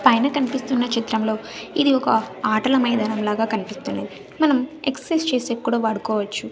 పైన కనిపిస్తున్న చిత్రంలో ఇది ఒక ఆటల మైదానం లాగా కనిపిస్తున్నాయి మనం ఎక్ససైజ్ చేసేకి కూడా వాడుకోవచ్చు.